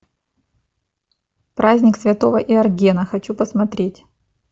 праздник святого йоргена хочу посмотреть